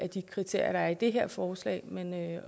de kriterier der er i det her forslag men